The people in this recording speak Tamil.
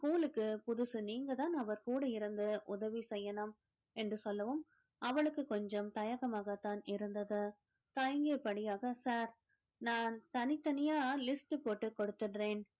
school க்கு புதுசு நீங்கதான் அவர் கூட இருந்து, உதவி செய்யணும் என்று சொல்லவும் அவளுக்கு கொஞ்சம் தயக்கமாகத்தான் இருந்தது தயங்கியபடியாக sir நான் தனித்தனியா list போட்டு கொடுத்திடறேன்